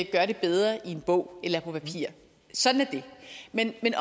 gør det bedre i en bog eller på papir sådan er det men